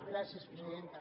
gràcies presidenta